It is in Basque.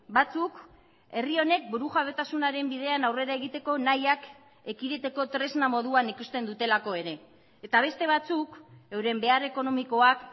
batzuk herri honek burujabetasunaren bidean aurrera egiteko nahiak ekiditeko tresna moduan ikusten dutelako ere eta beste batzuk euren behar ekonomikoak